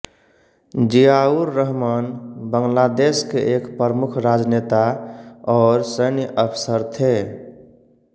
जियाउर्रहमान बांग्लादेश के एक प्रमुख राजनेता और सैन्य अफसर थे